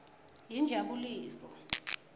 yinjabuliso